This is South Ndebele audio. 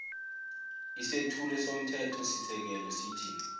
isethulo somthethosisekelo sithi